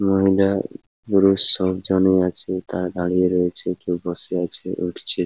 এবং এটা পুরুষ সব জনই আছে। তারা দাঁড়িয়ে রয়েছে কেউ বসে আছে উঠছে ।